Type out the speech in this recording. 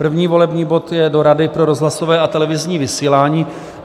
První volební bod je do Rady pro rozhlasové a televizní vysílání.